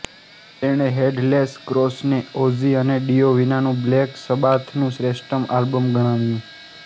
તેણે Headless Cross ને Ozzy અને ડિયો વિનાનું બ્લેક સબાથનું શ્રેષ્ઠત્તમ આલ્બમ ગણાવ્યું